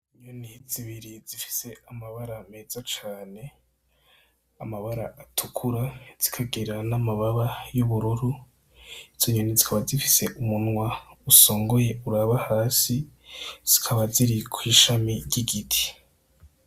Inyoni zibiri zifise amabara meza cane, amabara atukura zikagira n'amababa y'ubururu. Izo nyoni zikaba zifise umunwa usongoye uraba hasi, zikaba ziri kw'ishami ry'igiti.